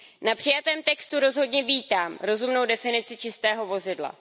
Na přijatém textu rozhodně vítám rozumnou definici čistého vozidla.